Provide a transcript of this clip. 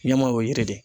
Ɲɛma o ye yiri de ye